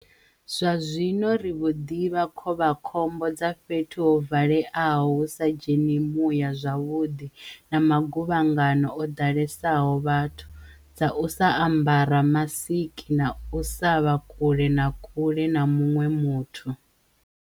Zwa-zwino ri vho ḓivha khovhakhombo dza fhethu ho va-leaho hu sa dzheni muya zwavhuḓi na maguvhangano o ḓalesaho vhathu, dza u sa ambara masiki na u sa vha kule na kule na muṅwe muthu.